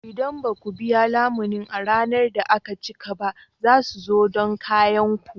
Idan ba ku biya lamunin a ranar da aka cika ba, za su zo don kayan ku.